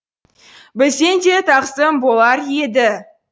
бізден де тағзым болар еді